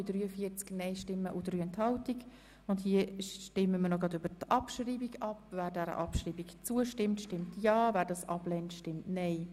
Wer Ziffer 5 abschreiben will, stimmt Ja, wer dies ablehnt, stimmt Nein.